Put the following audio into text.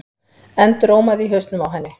endurómaði í hausnum á henni.